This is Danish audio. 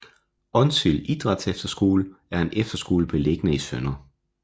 Onsild Idrætsefterskole er en efterskole beliggende i Sdr